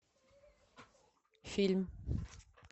фильм